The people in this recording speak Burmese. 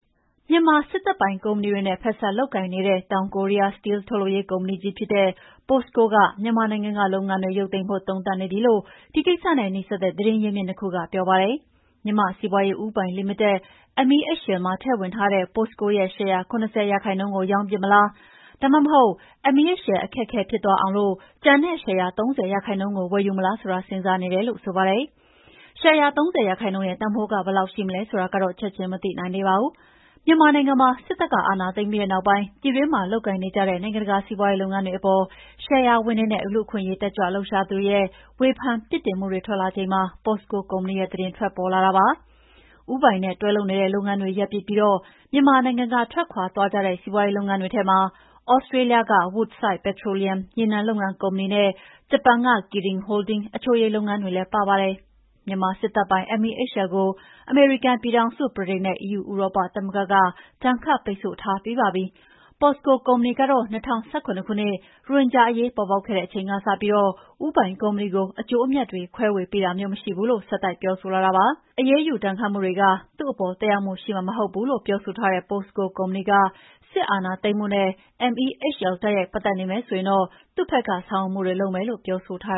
မြန်မာစစ်တပ်ပိုင်ကုမ္ပဏီတွေနဲ့ ဖက်စပ်လုပ်ကိုင်နေတဲ့ တောင်ကိုရီးယားက စတီးလ်ထုတ်လုပ်ရေးကုမ္ပဏီကြီးဖြစ်တဲ့ POSCO က မြန်မာနိုင်ငံကလုပ်ငန်းတွေ ရုပ်သိမ်းဖို့ သုံးသပ်နေပြီလို့ ဒီကိစ္စနဲ့နီးစပ်တဲ့ သတင်းရင်းမြစ်၂ ခုက ပြောပါတယ်။ မြန်မာ့စီးပွါးရေးဦးပိုင်လီမိတက် MEHL မှာထည့်ဝင်ထားတဲ့ POSCO ရဲ့ ရှယ်ယာ ၇၀ ရာခိုင်နှုန်းကိုရောင်းပစ်မလား၊ ဒါမှမဟုတ် MEHL အခက်အခဲဖြစ်သွားအောင် ကျန်တဲ့ ရှယ်ယာ ၃၀ ရာခိုင်နှုန်းကို ဝယ်မလားဆိုတာ စဉ်းစားနေတယ်လို့လည်းဆိုပါတယ်။ ရှယ်ယာ ၃၀ ရာခိုင်နှုန်းရဲ့တန်ဖိုးက ဘယ်လောက်ရှိမလဲဆိုတာတော့ ချက်ချင်းမသိနိုင်သေးပါဘူး။ မြန်မာနိုင်ငံမှာ စစ်တပ်ကအာဏာသိမ်းပြီးတဲ့နောက်ပိုင်း ပြည်တွင်းမှာလုပ်ကိုင်နေကြတဲ့ နိုင်ငံတကာစီးပွါးရေးလုပ်ငန်းတွေအပေါ် ရှယ်ယာဝင်တွေနဲ့ လူ့အခွင့်အရေးတက်ကြွလှုပ်ရှားသူတွေရဲ့ ဝေဖန်ပြစ်တင်မှုတွေထွက်လာနေချိန်မှာ POSCO ကုမ္ပဏီရဲ့သတင်းထွက်ပေါ်လာတာဖြစ်ပါတယ်။ ဦးပိုင်နဲ့တွဲလုပ်နေတဲ့ လုပ်ငန်းတွေရပ်ပစ်ပြီး မြန်မာနိုင်ငံကထွက်ခွါသွားကြတဲ့ စီးပွါးရေးလုပ်ငန်းတွေထဲမှာ သြစးတေးလျက Woodside Petroleum ရေနံထုတ်လုပ်ရေးကုမ္ပဏီနဲ့ ဂျပန် Kirin Holdings အချိုရည်လုပ်ငန်းတွေလည်းပါပါတယ်။ မြန်မာစစ်တပ်ပိုင် MEHL ကို အမေရိကန်ပြည်ထောင်စု၊ ဗြိတိန်နဲ့ဥရောပသမဂ္ဂက ဒဏ်ခတ်ပိတ်ဆို့ထားပြီးပါပြီ။ Posco ကုမ္ပဏီကတော့ ၂၀၁၇ ခုနှစ် ရိုဟင်ဂျာအရေးပေါ်ပေါက်ခဲ့တဲ့အချိန်ကစပြီး ဦးပိုင်ကုမ္ပဏီကို အကျိုးအမြတ်တွေ ခွဲဝေပေးတာမျိုးမရှိဘူးလို့ ဆက်တိုက်ပြောဆိုလာတာပါ။ အရေးယူဒဏ်ခတ်မှုတွေက သူ့အပေါ်သက်ရောက်မှုရှိမှာမဟုတ်ဘူးလို့ ပြောဆိုထားတဲ့ Posco ကုမ္ပဏီက စစ်အာဏာသိမ်းမှုနဲ့ MEHL တိုက်ရိုက်ပတ်သက်နေမယ်ဆိုရင်တော့ သူ့ဖက်ကေ ဆာင်ရွက်မှုတွေလုပ်မယ်လို့ ပြောဆိုထား